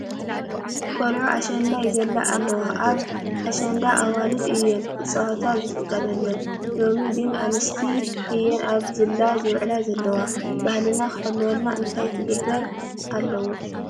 ቆልዑ ኣሸንዳ ይዘላ ኣለዋ፡፡ ኣብ ኣሸንዳ ኣዋልድ እየን ክፃወታ ዝፍቀደለን፡፡ ሎሚ ግን ኣንስቲ እየን ኣብ ዝላ ዝውዕላ ዘለዋ፡፡ ባህልና ክሕሎ እንታይ ክግበር ኣለዎ?